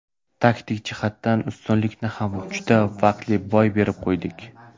Taktik jihatdan ustunlikni ham juda vaqtli boy berib qo‘ydik.